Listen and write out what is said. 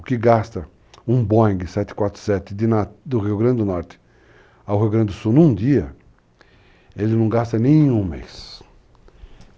O que gasta um Boeing 747 do Rio Grande do Norte ao Rio Grande do Sul num dia, ele não gasta nem um mês.